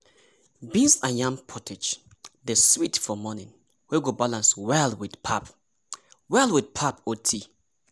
beans and yam pottage dey sweet for morning wey go balance well with pap well with pap or tea.